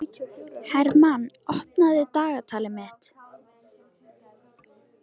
Hermann, opnaðu dagatalið mitt.